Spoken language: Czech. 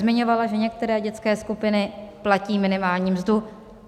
Zmiňovala, že některé dětské skupiny platí minimální mzdu.